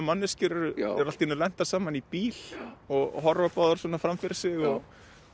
manneskjur eru allt í einu lentar saman í bíl og horfa báðar svona fram fyrir sig og